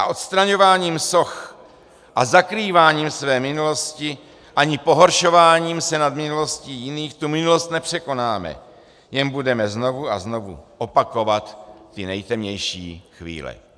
A odstraňováním soch a zakrýváním své minulosti ani pohoršováním se nad minulostí jiných tu minulost nepřekonáme, jen budeme znovu a znovu opakovat ty nejtemnější chvíle."